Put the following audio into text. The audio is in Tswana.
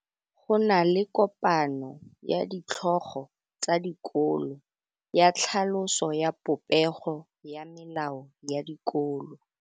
Go na le kopanô ya ditlhogo tsa dikolo ya tlhaloso ya popêgô ya melao ya dikolo.